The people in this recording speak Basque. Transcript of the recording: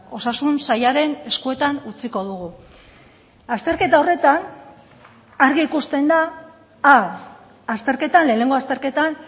osasun sailaren eskuetan utziko dugu azterketa horretan argi ikusten da a azterketan lehenengo azterketan